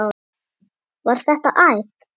Var þetta æft?